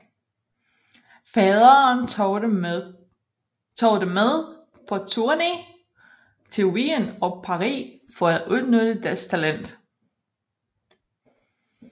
Faderen tog dem med på turné til Wien og Paris for at udnytte deres talent